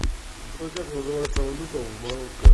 джой как называется валюта в марокко